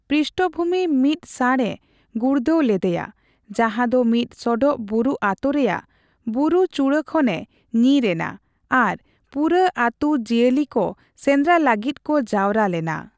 ᱯᱨᱤᱥᱴᱵᱷᱩᱢᱤ ᱢᱤᱫ ᱥᱟᱸᱬ ᱮ ᱜᱩᱲᱫᱟᱹᱣ ᱞᱮᱫᱮᱭᱟ ᱡᱟᱦᱟᱸ ᱫᱚ ᱢᱤᱫ ᱥᱚᱰᱚᱜ ᱵᱩᱨᱩ ᱟᱹᱛᱩ ᱨᱮᱭᱟᱜ ᱵᱩᱪᱲᱠᱷᱟᱱᱮ ᱠᱷᱚᱱ ᱧᱤᱨ ᱮᱱᱟ ᱟᱨ ᱯᱩᱨᱟᱹ ᱟᱹᱛᱩ ᱡᱤᱭᱟᱹᱞᱤ ᱠᱚ ᱥᱮᱸᱫᱽᱨᱟ ᱞᱟᱹᱜᱤᱫ ᱠᱚ ᱡᱟᱣᱨᱟ ᱞᱮᱱᱟ ᱾